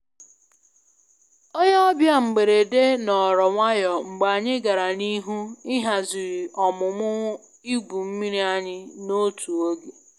Onye ọbịa mgberede nọọrọ nwayọ mgbe anyị gara n'ihu ịhazi ọmụmụ ịgwu mmiri anyị na otu oge